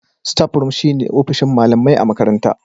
Staff room shine ofishin malamai a makaranta